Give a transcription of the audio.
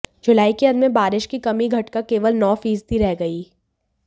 जुलाई के अंत में बारिश की कमी घटकर केवल नौ फीसदी रह गई